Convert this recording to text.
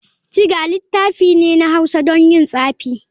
Thger littafi ne na hausa don yin tsafi.